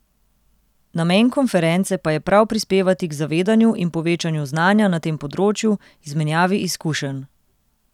Namen konference pa je prav prispevati k zavedanju in povečanju znanja na tem področju, izmenjavi izkušenj.